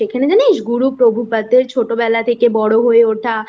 সেখানে জানিস গুরু প্রভুপাদ এর ছোটবেলা থেকে বড়ো হয়ে